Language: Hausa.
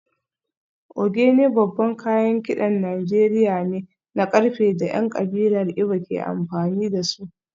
Ogene babban kayan kidan Najeriya ne na karfe da ‘yan kabilar Igbo ke amfani da su